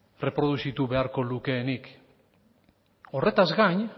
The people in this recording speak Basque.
erreproduzitu beharko lukeenik horretaz gain